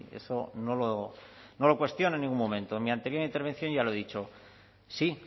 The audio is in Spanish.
bien yo eso ahí no lo cuestiono en ningún momento en mi anterior intervención ya lo he dicho sí